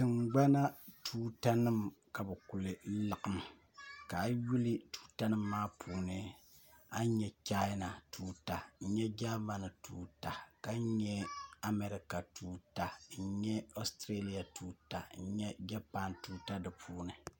Tiŋgbana tuutanima ka bɛ kuli laɣim ka a yi yuli tuutanima maa puuni a ni nya chaana tuuta n-nya Germany tuuta ka nya Amarika tuuta n-nya Australia tuuta n-nya Japan tuuta di puuni